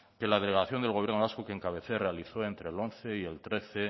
que la delegación del gobierno vasco que encabecé realizó entre el once y el trece